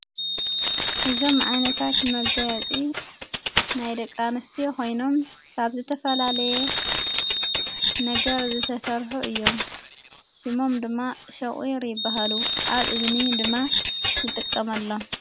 እዞም መዓይነታት መጋያጢ ናይ ደቃንስቲ ኾይኖም ካብ ዝተፈላለየ ነገር ዘተሠርሑ እዮም ሽሞም ድማ ሸቝይር ይበሃሉ ኣብ እዝኒ ድማ ዝጠቀመሎ፡፡